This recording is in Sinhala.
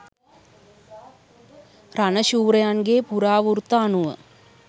රණ ශූරයන්ගේ පුරාවෘත්ත අනුව